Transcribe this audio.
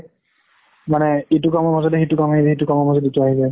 মানে ইটো কামৰ মাজতে সিটো কাম আহিলে, সিটো কামৰ মাজত ইটো আহিলে।